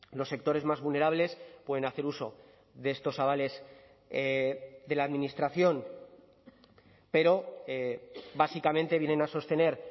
los sectores más vulnerables pueden hacer uso de estos avales de la administración pero básicamente vienen a sostener